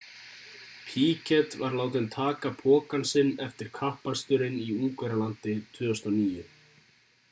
piquet var látinn taka pokann sinn eftir kappaksturinn í ungverjalandi 2009